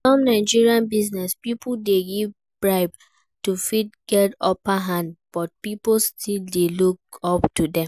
Some Nigerian business pipo dey give bribe to fit get upper hand but pipo still dey look up to them